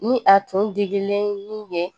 Ni a tun digilen bɛ